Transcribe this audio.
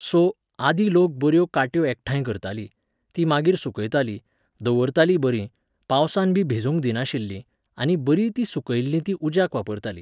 So, आदीं लोक बऱ्यो काट्यो एकठांय करतालीं, तीं मागीर सुकयतालीं, दवरतालीं बरीं, पावसांत बी भिजूंक दिनाशिल्लीं, आनी बरीं तीं सुकयल्लीं तीं उज्याक वापरतालीं.